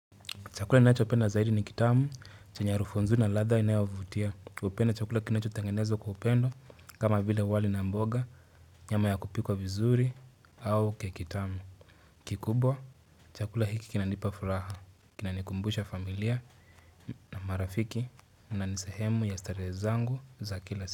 Chakula ninacho penda zaidi ni kitamu, chenye harufu nzuri na ladha inayovutia. hUpenda chakula kinacho tengenezwa kwa upendo kama vile wali na mboga, nyama ya kupikwa vizuri au kekitamu. Kikubwa, chakula hiki kinanipa furaha. Kinanikumbusha familia na marafiki na nisehemu ya starehe zangu za kila.